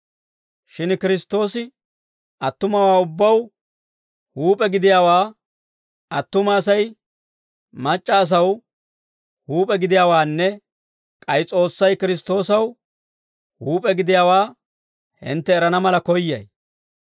Shin Kiristtoosi attumawaa ubbaw huup'e gidiyaawaa, attuma Asay mac'c'a asaw huup'e gidiyaawaanne k'ay S'oossay Kiristtoosaw huup'e gidiyaawaa hintte erana mala koyyay.